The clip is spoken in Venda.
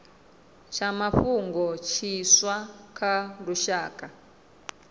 tsha mafhungo tshiswa tsha lushaka